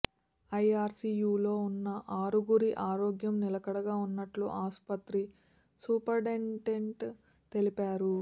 ఐఆర్సీయూలో ఉన్న ఆరుగురి ఆరోగ్యం నిలకడగా ఉన్నట్లు ఆస్పత్రి సూపరింటెండెంట్ తెలిపారు